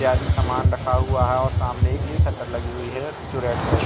इत्यादि सामान रखा हुआ है और सामने की शटर लगी हुई है जो रेड कलर की --